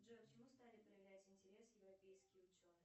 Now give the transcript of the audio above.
джой к чему стали проявлять интерес европейские ученые